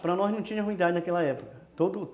Para nós não tinha ruindade naquela época